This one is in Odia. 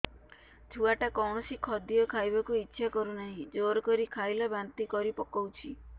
ଛୁଆ ଟା କୌଣସି ଖଦୀୟ ଖାଇବାକୁ ଈଛା କରୁନାହିଁ ଜୋର କରି ଖାଇଲା ବାନ୍ତି କରି ପକଉଛି